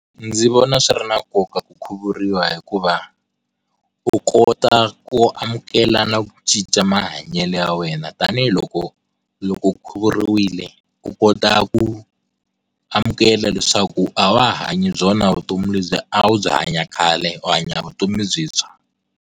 Ndzi vona swi ri na nkoka ku khukhuriwa hikuva u kota ku amukela na ku cinca mahanyelo ya wena tanihiloko loko khuvuriwile u kota ku amukela leswaku a wa ha hanyi byona vutomi lebyi a wu byi hanya khale u hanya vutomi le byintswa.